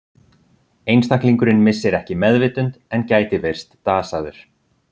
Einstaklingurinn missir ekki meðvitund en gæti virst dasaður.